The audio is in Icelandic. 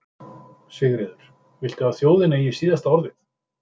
Sigríður: Viltu að þjóðin eigi síðasta orðið?